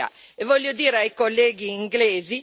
non è vero che vogliamo trattenervi